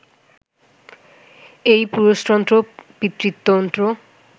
এই পুরুষতন্ত্র, পিতৃতন্ত্র